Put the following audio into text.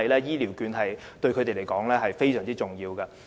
醫療券對他們而言，十分重要。